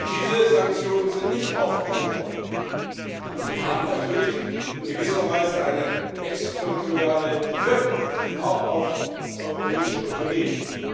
Diese Sanktionen sind nicht aufgehoben worden, und sie haben natürlich in gewisser Weise auch eine exterritoriale Wirkung auf europäische Unternehmen.